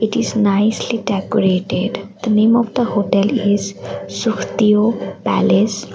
it is nicely decorated the name of the hotel is sukhdeo palace.